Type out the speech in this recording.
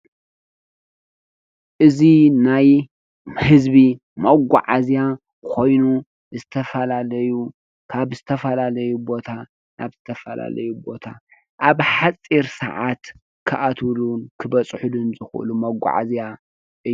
እዚ ናይ ህዝቢ መጓዓዝያ ኮይኑ ዝተፈላለዩ ካብ ዝተፈላለይ ቦታ ናብ ዝተፈላለዩ ቦታ አብ ሓፂር ስዓት ከአትውሉ ክበፀሑሉን ዝክእሉ መጓዓዝያ እዩ።